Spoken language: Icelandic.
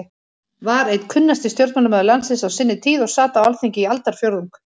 var einn kunnasti stjórnmálamaður landsins á sinni tíð og sat á Alþingi í aldarfjórðung.